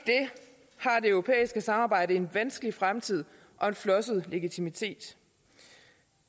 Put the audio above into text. europæiske samarbejde over for en vanskelig fremtid og en flosset legitimitet